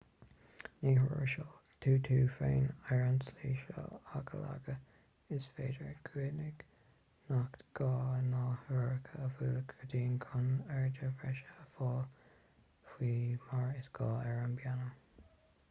ní thuirseoidh tú tú féin ar an tslí seo ach a laghad is féidir cuimhnigh nach gá na heochracha a bhualadh go dian chun airde bhreise a fháil faoi mar is gá ar an bpianó